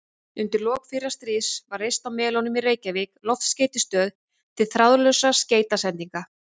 Undir lok fyrra stríðs var reist á Melunum í Reykjavík loftskeytastöð til þráðlausra skeytasendinga.